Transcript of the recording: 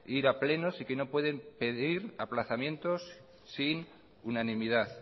obligado ir a plenos y que no pueden pedir aplazamientos sin